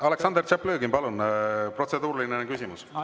Aleksandr Tšaplõgin, palun, protseduuriline küsimus!